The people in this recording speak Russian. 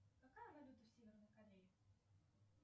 какая валюта в северной корее